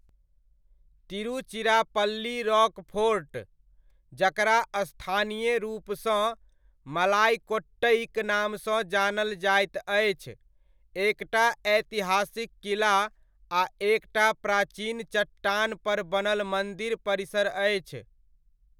Tiruchirappalli Rockfort, जकरा स्थानीय रूपसँ मलाइकोट्टइक नामसँ जानल जाइत अछि, एकटा ऐतिहासिक किला आ एकटा प्राचीन चट्टान पर बनल मन्दिर परिसर अछि।